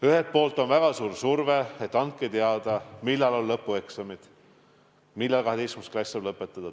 Ühelt poolt on suur surve, et andke teada, millal on lõpueksamid, millal 12. klass saab lõpetada.